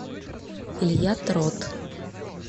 илья трот